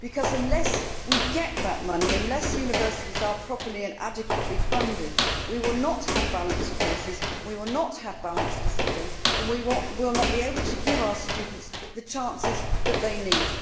Unless we get that money and unless universities are properly and adequately funded, we will not have balanced courses, we will not have balanced discipline and we will not be able to give our students the chances that they need.